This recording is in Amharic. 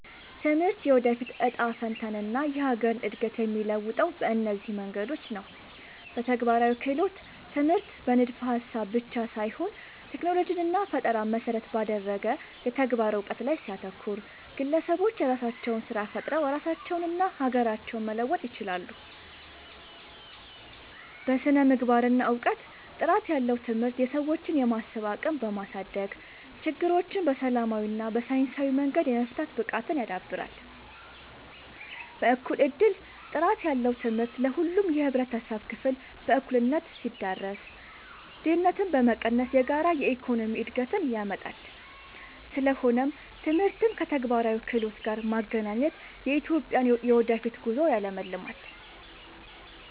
ትምህርት የወደፊት እጣ ፈንታንና የሀገርን እድገት የሚለውጠው በእነዚህ መንገዶች ነው፦ በተግባራዊ ክህሎት፦ ትምህርት በንድፈ-ሀሳብ ብቻ ሳይሆን ቴክኖሎጂንና ፈጠራን መሰረት ባደረገ የተግባር እውቀት ላይ ሲያተኩር፣ ግለሰቦች የራሳቸውን ስራ ፈጥረው ራሳቸውንና ሀገራቸውን መለወጥ ይችላሉ። በስነ-ምግባርና እውቀት፦ ጥራት ያለው ትምህርት የሰዎችን የማሰብ አቅም በማሳደግ፣ ችግሮችን በሰላማዊና በሳይንሳዊ መንገድ የመፍታት ብቃትን ያዳብራል። በእኩል እድል፦ ጥራት ያለው ትምህርት ለሁሉም የህብረተሰብ ክፍል በእኩልነት ሲዳረስ፣ ድህነትን በመቀነስ የጋራ የኢኮኖሚ እድገትን ያመጣል። ስለሆነም ትምህርትን ከተግባራዊ ክህሎት ጋር ማገናኘት የኢትዮጵያን የወደፊት ጉዞ ያለምልማል።